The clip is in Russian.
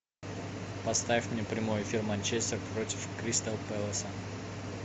поставь мне прямой эфир манчестер против кристал пэласа